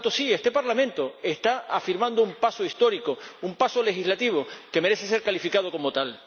Por tanto, sí, este Parlamento está dando un paso histórico, un paso legislativo que merece ser calificado como tal.